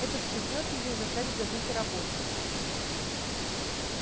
это встряхнёт её и заставит забыть о работе